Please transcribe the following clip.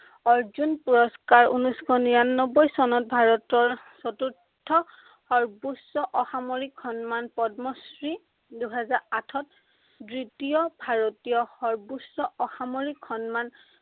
অৰ্জুন পুৰস্কাৰ, ঊনৈছশ নিৰান্নব্বৈ চনত ভাৰতৰ চতুৰ্থ সৰ্ব্বোচ্চ অসামৰিক সন্মান পদ্মশ্ৰী, দুহাজাৰ আঠত দ্বিতীয় ভাৰতীয় সৰ্ব্বোচ্চ অসামৰিক সন্মান